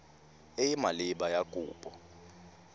e e maleba ya kopo